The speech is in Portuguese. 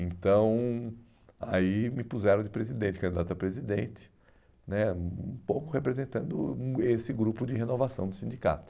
Então, aí me puseram de presidente, candidato a presidente, né um pouco representando do esse grupo de renovação do sindicato.